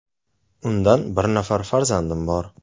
Undan bir nafar farzandim bor.